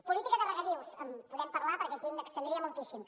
política de regadius en podem parlar perquè aquí m’estendria moltíssim